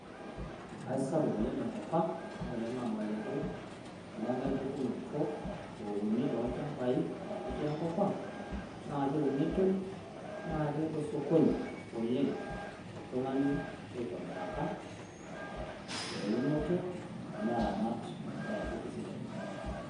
aisapuk oleng tenkop ang' wore ele naa omalenke lenkae pukunoto naketii enkop ang naa kewunitoi na ketaa osokoni toltung'ani oitobiraki ewunoto neramat peeku sidai